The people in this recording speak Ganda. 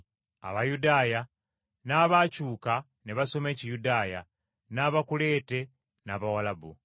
Abayudaaya, n’abakyuka ne basoma Ekiyudaaya, n’Abakuleete n’Abawalabu.”